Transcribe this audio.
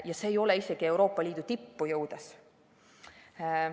Ja seda isegi mitte Euroopa Liidu tippu jõudes.